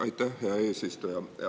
Aitäh, hea eesistuja!